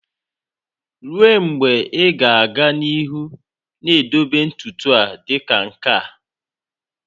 Ruo mgbe ị ga-aga n'ihu na-edobe ntutu a dị ka nke a?